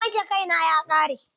Man wanke kai na ya ƙare.